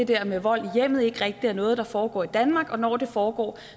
der med vold i hjemmet ikke rigtig er noget der foregår i danmark og når det foregår